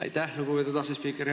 Aitäh, lugupeetud asespiiker!